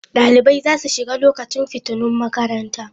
Ɗalibai za su shiga lokacin fitinun makaranta